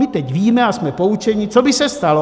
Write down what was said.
My teď víme a jsme poučeni, co by se stalo.